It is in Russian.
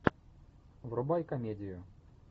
врубай комедию